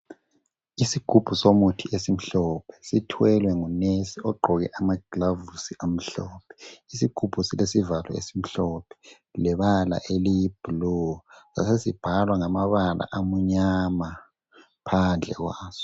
Isigubhu somuthi esimhlophe sithwele ngunesi ogqoke amagilovisi amhlophe. Isigubhu silesivalo esimhlophe lebala eliyibhulu sasesibhalwa ngamabala amunyama phandle kwaso.